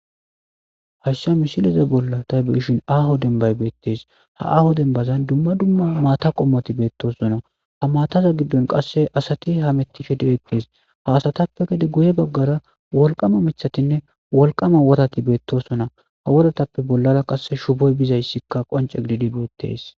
hashsha mishileza bolla taybeshin aho dembay beettees ha aaho denbazan dumma dumma maata qommoti beettosona ha maataza giddon qasse asati ha mettihi de7ettees haasatappe gede guye baggara wolqama michatinne wolqama wotati beettosona ha wodatappe bollara qasse shuboy bizayssikka qonce gididi beettees